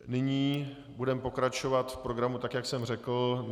Nyní budeme pokračovat v programu, tak jak jsem řekl.